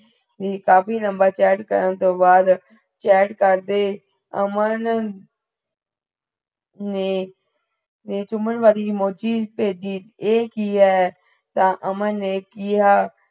ਕਾਫੀ ਲੰਬਾ chat ਕਰਨ ਤੋ ਬਾਦ chat ਕਰਦੇ ਅਮਨ ਨੇ ਚੁੱਮਣ ਵਾਲੀ emoji ਭੇਜੀ, ਐ ਕਿ ਹੈ ਤਾ ਅਮਨ ਨੇ ਕੀਯਾ